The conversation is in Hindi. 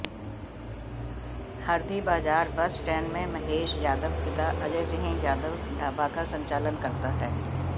हरदीबाजार बस स्टैंड में महेश यादव पिता अजय सिंह यादव ढाबा का संचालन करता है